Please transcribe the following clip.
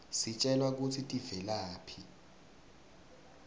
sitjelwa kutsi tivelaphi